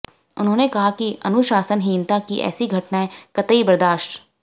उन्होंने कहा कि अनुशासनहीनता की ऐसी घटनाएं कतई बर्दाश्त